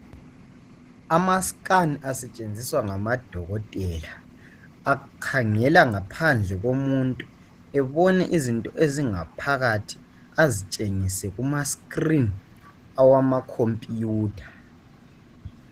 Ama scan asetshenziswa ngamadokotela, akhangela ngaphandle komuntu ebone izinto ezingaphakathi azitshengise kuma screen awama computer